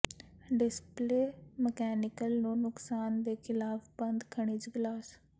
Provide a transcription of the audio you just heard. display mechanical ਨੂੰ ਨੁਕਸਾਨ ਦੇ ਖਿਲਾਫ ਬੰਦ ਖਣਿਜ ਗਲਾਸ